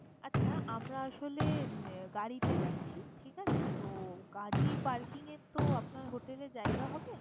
আচ্ছা আমরা আসলে উম গাড়িতে যাচ্ছি, ঠিক আছে? তো গাড়ি parking এর তো আপনার hotel এ জায়গা হবে?